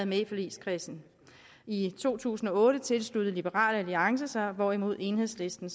med i forligskredsen i to tusind og otte tilsluttede liberal alliance sig hvorimod enhedslisten